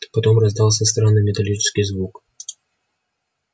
потом раздался странный металлический звук